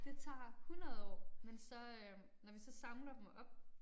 Det tager 100 år men så øh når vi så samler dem op